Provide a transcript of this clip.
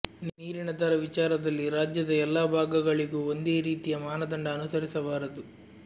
ನೀರಿನ ದರ ವಿಚಾರದಲ್ಲಿ ರಾಜ್ಯದ ಎಲ್ಲಾ ಭಾಗಗಳಿಗೂ ಒಂದೇ ರೀತಿಯ ಮಾನದಂಡ ಅನುಸರಿಸಬಾರದು